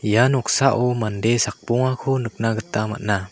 ia noksao mande sakbongako nikna gita man·a.